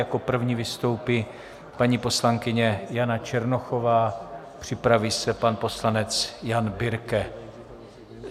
Jako první vystoupí paní poslankyně Jana Černochová, připraví se pan poslanec Jan Birke.